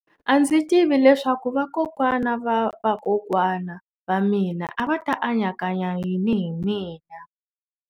A ndzi tivi leswaku vakokwana-va-vakokwana va mina a va ta anakanya yini hi mina.